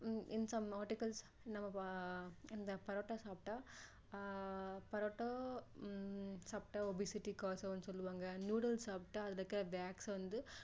in some articles நம்ம இந்த பரோட்டா சாப்பிட்டா ஆஹ் பரோட்டா ஹம் சாப்பிட்டா obesity cause ஆகும்னு சொல்லுவாங்க noodles சாப்பிடா அதுல இருக்கிற wax வந்து